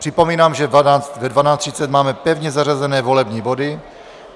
Připomínám, že ve 12.30 máme pevně zařazené volební body.